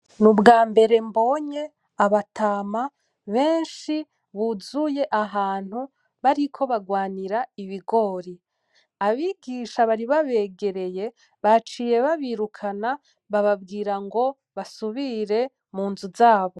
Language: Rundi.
N'ubwambere mbonye abatama benshi ,buzuye ahantu bariko barwanira Ibigori ,abigisha bari babegereye baciye babirukana babwira basubire munzu zabo.